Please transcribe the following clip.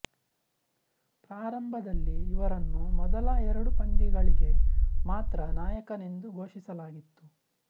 ಪ್ರಾರಂಭದಲ್ಲಿ ಇವರನ್ನು ಮೊದಲ ಎರಡು ಪಂದ್ಯಗಳಿಗೆ ಮಾತ್ರ ನಾಯಕನೆಂದು ಘೋಷಿಸಲಾಗಿತ್ತು